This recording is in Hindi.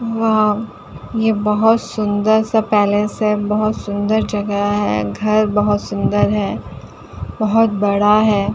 यहां ये बहोत सुंदर सा पैलेस है। बहोत सुंदर जगह है। घर बहोत सुंदर है बहोत बड़ा है।